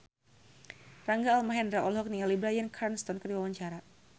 Rangga Almahendra olohok ningali Bryan Cranston keur diwawancara